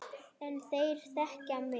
En þeir þekkja mig.